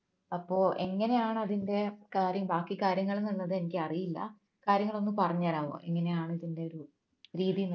അപ്പോ എങ്ങനെയാണ് അതിന്റെ കാര്യം ബാക്കി കാര്യങ്ങൾ എന്നുള്ളത് എനിക്കറിയില്ല കാര്യങ്ങൾ ഒന്നു പറഞ്ഞുതരാമോ എങ്ങനെയാണ് ഇതിന്റെ ഒരു രീതി